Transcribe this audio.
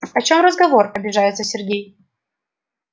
о чём разговор обижается сергей